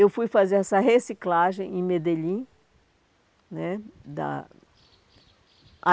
Eu fui fazer essa reciclagem em Medellín né da.